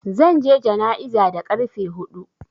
Zan je jana'iza da ƙarfe huɗu.